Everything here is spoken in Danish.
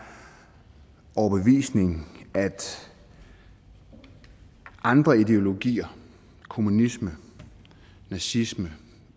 overbevisning at andre ideologier kommunisme nazisme